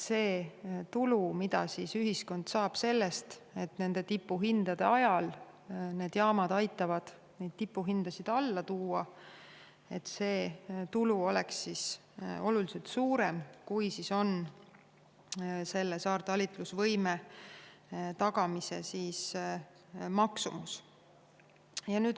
See tulu, mida ühiskond saab sellest, et tipuhindade ajal aitavad põlevkivijaamad meil elektri hinda alla tuua, oleks oluliselt suurem, kui on saartalitlusvõime tagamise maksumus.